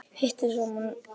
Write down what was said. Hitið saman.